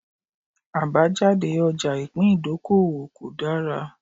Àbájáde ọjà ìpín ìdókòwò kò dára